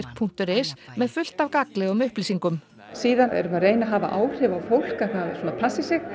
punktur is með fullt af gagnlegum upplýsingum síðan erum við að reyna að hafa áhrif á fólk að það svona passi sig